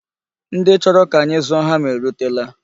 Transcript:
Ndị chọrọ ka anyị zụọ hama erutela.